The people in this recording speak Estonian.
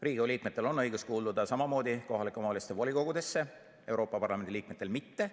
Riigikogu liikmetel on õigus kuuluda samamoodi kohalike omavalitsuste volikogudesse, Euroopa Parlamendi liikmetel mitte.